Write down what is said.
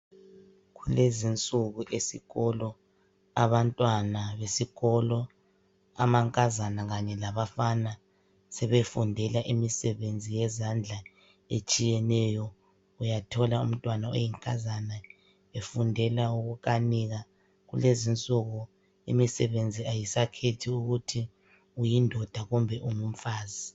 Kulezi insuku esikolo, abantwana besikolo amankazana kanye labafana sebefundela imisebenzi yezandla etshiyeneyo. Uyathola umntwana oyinkazana efundela ukukanika. Kulezi insuku imisebenzi ayisakhethi ukuthi uyindoda kumbe ungumfazi.